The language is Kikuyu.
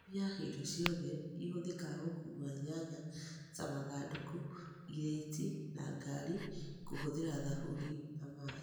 Thambia indo ciothe ihũthĩkaga gũkua nyanya ta mathandũkũ, irĩti na ngari kũhũthĩra thabuni na maĩĩ